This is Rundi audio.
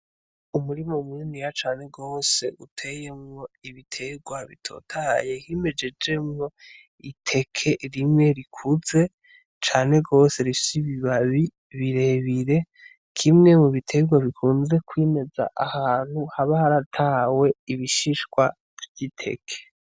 Umurima muniniya cane gose uteyemwo ibiterwa bitotahaye himejeje mwo iteke rimwe rikuze cane gose rifise ibibabi birebire kimwe m'ubiterwa bikunda kwimeza ahantu haba haratawe ibishishwa vy'iteke.